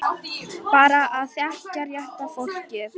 Bara að þekkja rétta fólkið.